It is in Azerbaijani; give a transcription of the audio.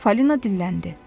Falina dilləndi.